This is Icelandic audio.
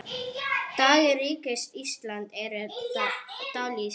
Dagar Ríkis íslams eru taldir.